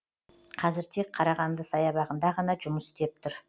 қазір тек қарағанды саябағында ғана жұмыс істеп тұр